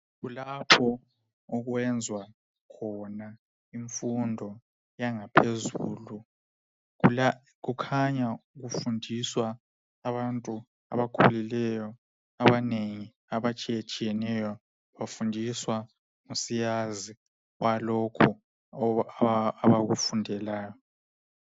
Kulapho okwenzwa khona imfundo yangaphezulu. Kukhanya kufundiswa abantu abakhulileyo abanengi a atshiyetshiyeneyo bafundiswa ngusiyazi walokho abakufundelayo.